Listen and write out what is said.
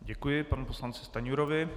Děkuji panu poslanci Stanjurovi.